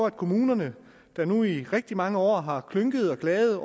at kommunerne der nu i rigtig mange år har klynket klaget